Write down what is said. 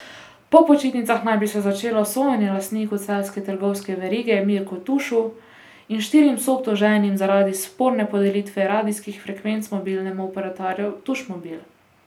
Po počitnicah naj bi se začelo sojenje lastniku celjske trgovske verige Mirku Tušu in štirim soobtoženim zaradi sporne podelitve radijskih frekvenc mobilnemu operaterju Tušmobil.